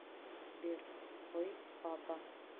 сбер твой папа